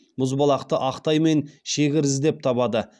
мұзбалақты ақтай мен шегір іздеп табады